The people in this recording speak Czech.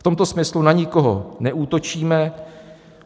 V tomto smyslu na nikoho neútočíme.